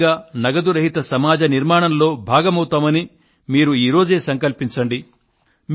స్వయంగా నగదు రహిత సమాజ నిర్మాణంలో భాగమవుతామని ఈ రోజే సంకల్పించండి